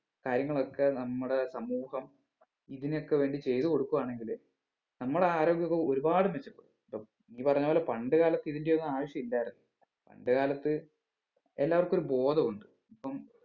കാര്യങ്ങളൊക്കെ നമ്മുടെ സമൂഹം ഇതിനൊക്കെ വേണ്ടി ചെയ്ത് കൊടുക്കുവാണെങ്കില് നമ്മടെ ആരോഗ്യവും ഒരുപാട് മെച്ചപ്പെടും ഇപ്പം നീ പറഞ്ഞപോലെ പണ്ട് കാലത്ത് ഇതിന്റെ ഒന്നും ആവശ്യമില്ലായിരുന്നു പണ്ട് കാലത്ത് എല്ലാവർക്കും ഒരു ബോധം ഉണ്ട് ഇപ്പം